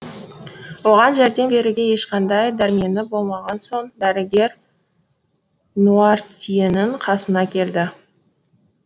оған жәрдем беруге ешқандай дәрмені болмаған соң дәрігер нуартьенің қасына келді